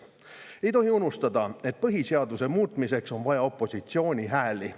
Ei tohi unustada, et põhiseaduse muutmiseks on vaja opositsiooni hääli.